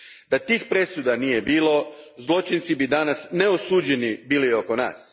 Da tih presuda nije bilo, zločinci bi danas, neosuđeni, bili oko nas.